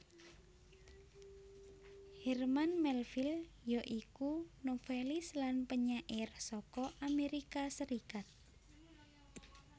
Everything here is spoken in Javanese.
Herman Melville ya iku novelis lan penyair saka Amerika Serikat